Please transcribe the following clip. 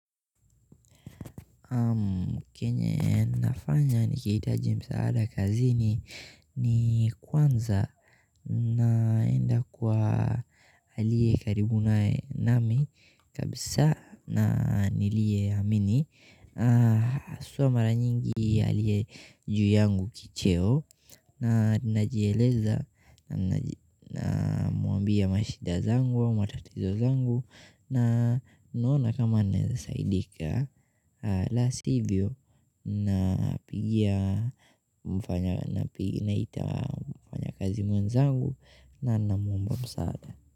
Kenye nafanya nikihitaji msaada kazini ni kwanza naenda kwa alie karibu nae nami kabisa na nilieamini hua mara nyingi aliye juu yangu kicheo na ninajieleza na namwambia mashida zangu matatizo zangu na naona kama naeza saidika la sivyo na pia naita mfanyakazi mwenzangu na namuomba msaada.